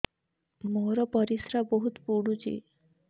ମୋର ପରିସ୍ରା ବହୁତ ପୁଡୁଚି